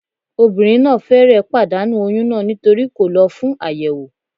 Obìnrin náà fẹ́rẹ̀ẹ́ pàdánù oyún náà nítorí kò lọ fún àyẹ̀wò